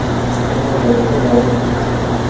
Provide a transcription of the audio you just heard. Saylov jarayoni davom etmoqda.